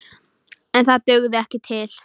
En það dugði ekki til.